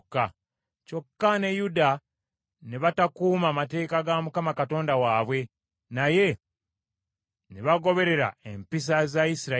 Kyokka ne Yuda ne batakuuma mateeka ga Mukama Katonda waabwe, naye ne bagoberera empisa za Isirayiri.